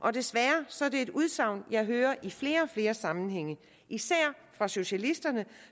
er desværre et udsagn jeg hører i flere og flere sammenhænge især fra socialisterne